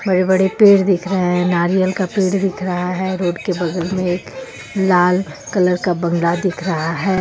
बड़े बड़े पेड़ दिख रहे हे नारियल का पेड़ दिख रहा हे रोड के बगल मे लाल कलर का बंगला दिख रहा हे.